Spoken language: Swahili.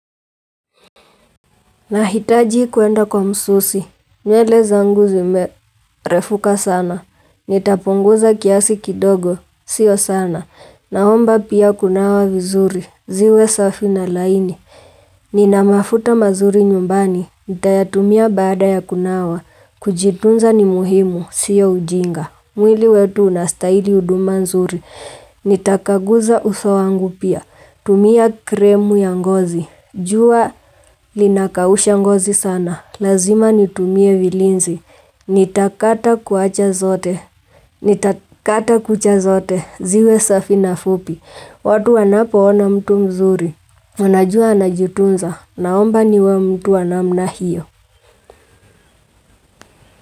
Nahitaji kwenda kwa msusi, nyele zanguzime refuka sana, nitapunguza kiasi kidogo, sio sana, naomba pia kunawa vizuri, ziwe safi na laini, ninamafuta mazuri nyumbani, nitayatumia baada ya kunawa, kujitunza ni muhimu, sio ujinga, mwili wetu unastahili huduma nzuri, nitakaguza usowangu pia, tumia kremu ya ngozi, jua linakaushangozi sana, lazima nitumie vilinzi, nitakata kuacha zote, nitakata kucha zote, ziwe safi na fupi, watu wanapo ona mtu mzuri, wanajua anajitunza, naomba niwe mtu wa namna hiyo.